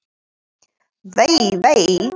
Vei, vei.